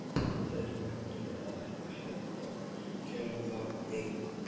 Það er nefnilega ekki hægt að gera það einn.